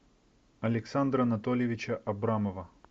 александра анатольевича абрамова